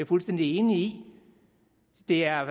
fuldstændig enig i det er